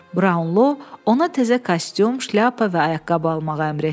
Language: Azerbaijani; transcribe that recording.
Braunlo ona təzə kostyum, şlyapa və ayaqqabı almağa əmr etdi.